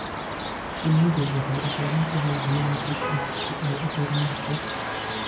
Shinnidu waxay u baahan tahay biyo nadiif ah si ay u horumarto.